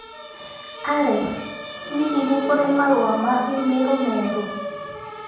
Alexa hihi nĩ kũrĩ marũa ma i-mīrū merũ